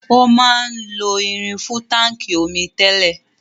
Wọn máa ń lo irin fún táńkì omi tẹ́lẹ̀.